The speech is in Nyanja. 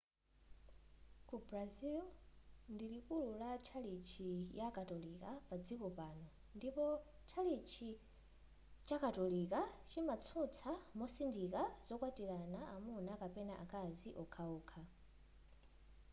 ku brazil ndiku likuli la tchalitchi ya katolika padziko pano ndipo tchalitchi chakatolika chimatsutsa mosindika zokwatilana amuna kapena akazi wokhawokha